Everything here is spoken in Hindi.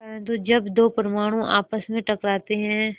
परन्तु जब दो परमाणु आपस में टकराते हैं